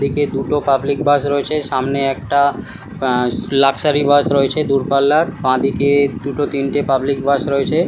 দিকে দুটো public bus রয়েছে। সামনে একটা আ লাক্সারি বাস রয়েছে দূরপাল্লার। বাঁদিকে দুটো তিনটে পাবলিক বাস রয়েছে।